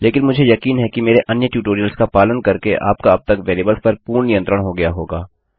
लेकिन मुझे यकीन है कि मेरे अन्य ट्यूटोरियल्स का पालन करके आपका अब तक वेरिएबल्स पर पूर्ण नियंत्रण हो गया होगा